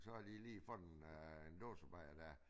Så har de lige fået en øh en dåsebajer dér